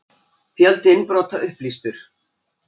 Fjöldi innbrota upplýstur